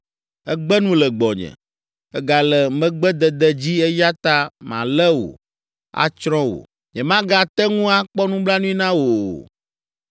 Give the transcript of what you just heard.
Ègbe nu le gbɔnye, ègale megbedede dzi eya ta malé wò, atsrɔ̃ wò. Nyemagate ŋu akpɔ nublanui na wò o.